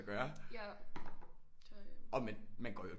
Gøre og man går jo